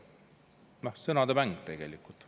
Noh sõnade mäng tegelikult.